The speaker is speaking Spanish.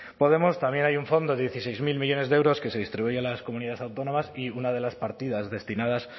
podemos también hay un fondo de dieciséis mil millónes de euros que se distribuyen a las comunidades autónomas y una de las partidas destinadas